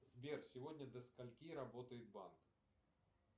сбер сегодня до скольки работает банк